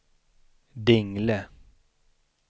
Dingle